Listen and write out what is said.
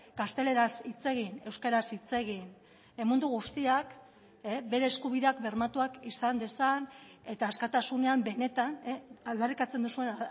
gazteleraz hitz egin euskaraz hitz egin mundu guztiak bere eskubideak bermatuak izan dezan eta askatasunean benetan aldarrikatzen duzuen